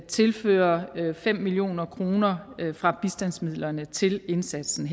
tilføre fem million kroner fra bistandsmidlerne til indsatsen